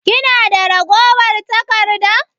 Kina da ragowar taƙarɗa?